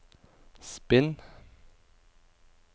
spinn